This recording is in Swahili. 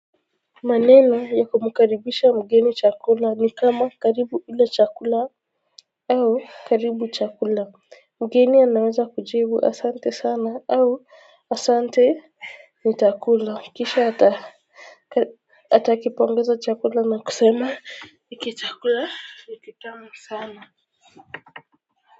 Maneno ya kumkaribisha mgeni chakula ni kama karibu ule chakula au karibu chakula. Mgeni anaweza kujibu asante sana au asante. Ni takula kisha atakipongeza chakula na kusema hiki chakula ni kitamu sana.